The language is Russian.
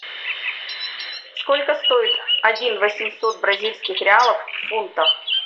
сколько стоит один восемьсот бразильских реалов в фунтах